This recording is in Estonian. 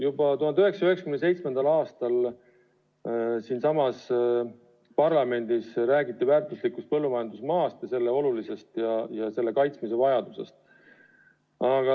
Juba 1997. aastal siinsamas parlamendis räägiti väärtuslikust põllumajandusmaast ja selle olulisusest ja selle kaitsmise vajadusest.